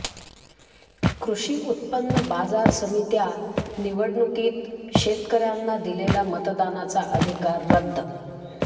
कृषी उत्पन्न बाजार समित्या निवडणुकीत शेतकर्यांना दिलेला मतदानाचा अधिकार रद्द